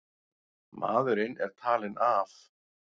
Maðurinn er talinn af.